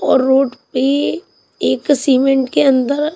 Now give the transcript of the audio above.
और रोड पे एक सीमेंट के अंदर--